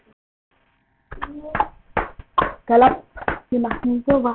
Alfa, hvenær kemur strætó númer fimmtíu og eitt?